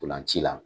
Ntolan ci la